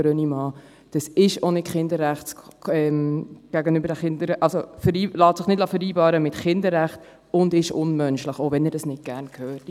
Es lässt sich nicht mit dem Kinderrecht vereinbaren und ist unmenschlich, auch wenn er dies nicht gerne hört.